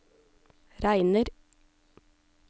regner